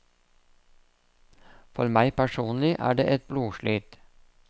For meg personlig er det et blodslit.